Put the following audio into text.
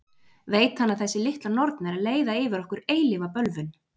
Veit hann að þessi litla norn er að leiða yfir okkur eilífa bölvun?